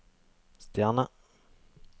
stjerne